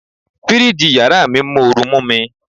Fíríjì yàrá mi ń mọ́ru mú mi.